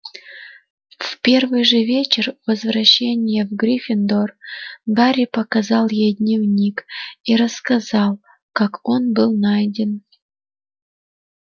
в первый же вечер возвращения в гриффиндор гарри показал ей дневник и рассказал как он был найден